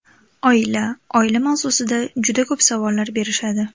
Oila Oila mavzusida juda ko‘p savollar berishadi.